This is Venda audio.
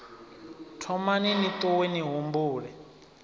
thomani ni ṱuwe ni humbule